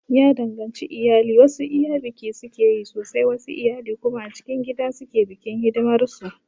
Ya danganci iyali, wasu iyali biki sukeyi sosai wasu iyali kuma a cikin gida suke bikin hidimar su